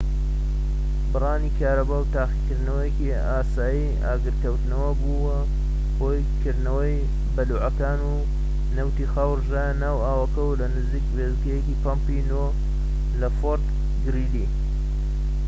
بڕانی کارەبا و تاقیکردنەوەیەکی ئاسایی ئاگرکەوتنەوە بووە هۆی کردنەوەی بەلوعەکان و نەوتی خاو ڕژایە ناو ئاوەکەوە لە نزیک وێستگەی پەمپی ٩ لە فۆرت گریلی